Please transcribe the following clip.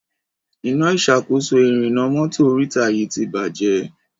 Iná ìṣàkóso ìrìnnà mọ́tò oríta yí tí bàjé.